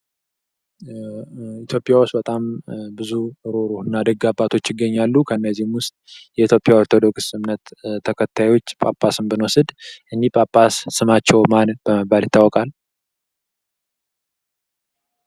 ኢትዮጵያ ውስጥ በጣም ብዙ ሩህሩህ እና ደግ አባቶች ይገኛሉ። ከእነዚህም ውስጥ የኢትዮጵያ ኦርቶዶክስ እምነት ተከታዮች ጳጳስን ብንወስድ እኚህ ጳጳስ ስማቸው በመባል ይታወቃል?